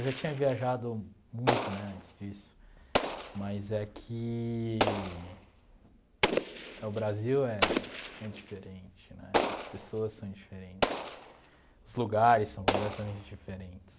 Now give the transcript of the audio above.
Eu já tinha viajado muito né antes disso, mas é que o Brasil é é diferente né, as pessoas são diferentes, os lugares são completamente diferentes.